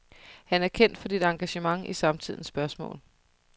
Han er kendt for dit engagement i samtidens spørgsmål.